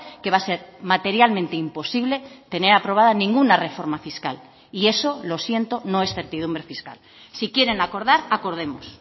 que va a ser materialmente imposible tener aprobada ninguna reforma fiscal y eso lo siento no es certidumbre fiscal sí quieren acordar acordemos